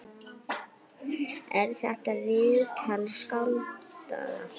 Er þetta viðtal skáldað?